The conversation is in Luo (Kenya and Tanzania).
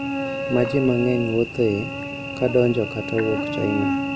Ma ji mang`eny wuothoe ka donjo kata wuok China